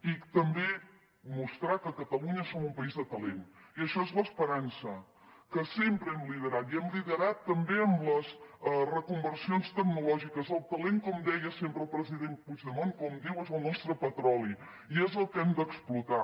i també mostrar que catalunya som un país de talent i això és l’esperança que sempre hem liderat i hem liderat també amb les reconversions tecnològiques el talent com deia sempre el president puigdemont com diu és el nostre petroli i és el que hem d’explotar